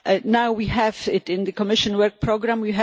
Now we have it in the Commission work programme